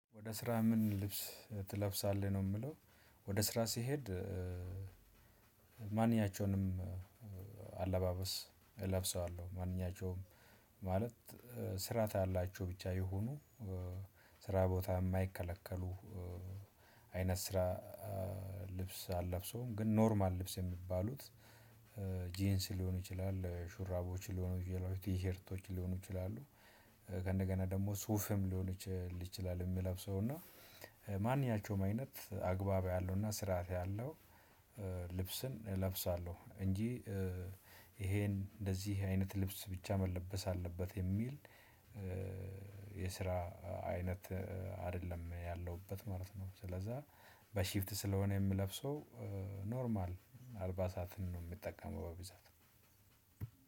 ወደ ስራ ምን ልብስ ትለብሳለህ ነው የሚለው? ወደ ስራ ሲሄድ ማንኛቸውንም አለባበስ እለብሰዋለሁ ማንኛቸውም ማለት ስርዓት ያላቸው ብቻ ይሁኑ ስራ ቦታ የማይከለከሉ አይነት ስራ ልብስ አልለብሰውም ግን ኖርማል ልብስ የሚባሉት ጂንስ ሊሆኑ ይችላል ሹራቦች ሊሆኑ ይችላሉ ቲሸርቶች ሊሆኑ ይችላሉ። ከእንደገና ደግሞ ሱፍም ሊሆን ይችላል የምለብሰው እና ማንኛቸውም አይነት አግባብ ያለውና ስርዓት ያለው ልብስን እለብሳለሁ። እንጂ ይሄን እንደዚህ አይነት ልብስ ብቻ መለበስ አለበት የሚል የስራ አይነት አይደለም ያለሁበት ማለት ነው። ስለዛ በሽፍት ስለሆነ የምለብሰው ኖርማል አልባሳትን ነው የምጠቀመው። በብዛት